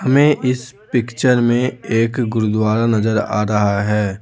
हमें इस पिक्चर में एक गुरुद्वारा नजर आ रहा है।